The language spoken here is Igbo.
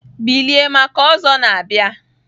Bilie maka Ozo na bia!